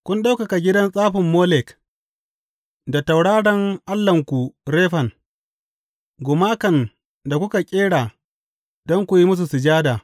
Kun ɗaukaka gidan tsafin Molek, da tauraron allahnku Refan, gumakan da kuka ƙera don ku yi musu sujada.